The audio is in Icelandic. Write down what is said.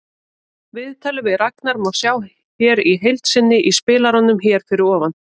Viðtalið við Ragnar má sjá í heild sinni í spilaranum hér fyrir ofan.